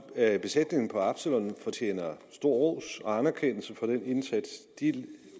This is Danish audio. at besætningen på absalon fortjener stor ros og anerkendelse for den indsats de